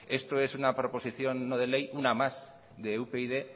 esto es una proposición no de ley una más de upyd